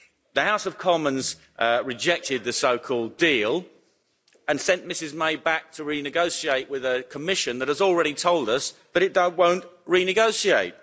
The House of Commons rejected the so-called deal and sent Mrs May back to renegotiate with a Commission that has already told us that it won't renegotiate.